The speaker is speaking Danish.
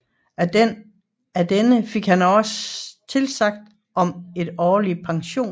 Af denne han fik tilsagn om en årlig pension